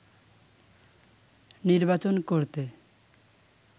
নির্বাচন করতে